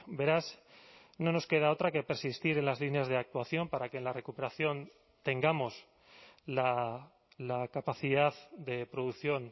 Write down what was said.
beraz no nos queda otra que persistir en las líneas de actuación para que en la recuperación tengamos la capacidad de producción